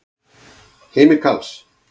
Heimir Karls.